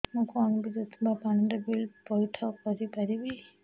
ମୁ କଣ ବିଦ୍ୟୁତ ବା ପାଣି ର ବିଲ ପଇଠ କରି ପାରିବି